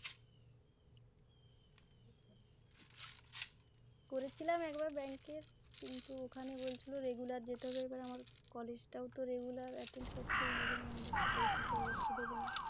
করেছিলাম একবার bank ।কিন্তু ওখানে বল regular ছিল যেতে হবে। এবার আমার college তো regular অংশগ্রহণ করতেই হবে ৷ না হলে তো পরীক্ষাতেও বসতে দেবে না